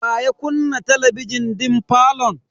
Wa ya kunna talabijin din falon?